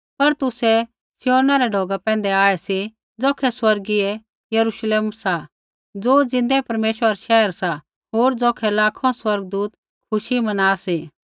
पर तुसै सिय्योनै रै ढौगा पैंधै आऐ सी ज़ौखै स्वर्गीय यरुश्लेम सा ज़ो ज़िन्दै परमेश्वरा रा शैहर सा होर ज़ौखै लाखों स्वर्गदूत खुशी मना सी